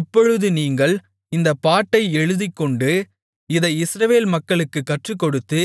இப்பொழுது நீங்கள் இந்தப் பாட்டை எழுதிக்கொண்டு இதை இஸ்ரவேல் மக்களுக்குக் கற்றுக்கொடுத்து